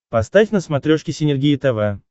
поставь на смотрешке синергия тв